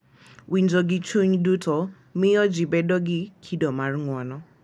Winjo gi chuny duto miyo ji bedo gi kido mar ng’uono,